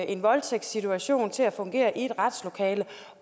en voldtægtssituation til at fungere i et retslokale